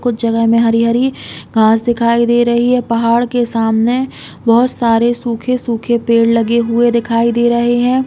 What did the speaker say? कुछ जगह में हरी-हरी घास दिखाई दे रही है। पहाड़ के सामने बोहोत सारे सूखे-सूखे पेड़ लगे हुए दिखाई दे रहे हैं।